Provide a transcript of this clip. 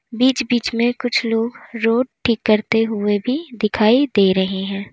बीच बीच में कुछ लोग रोड़ ठीक करते हुए भी दिखाई दे रहे हैं।